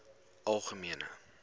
algemene